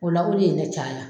O la o de ye ne caya.